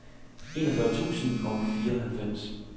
enogfyrre tusind og fireoghalvfems